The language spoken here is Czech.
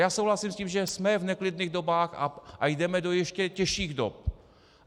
Já souhlasím s tím, že jsme v neklidných dobách a jdeme ještě do těžších dob.